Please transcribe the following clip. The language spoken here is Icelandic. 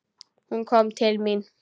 Hún kom til mín.